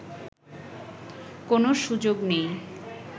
কোনো সুযোগ নেই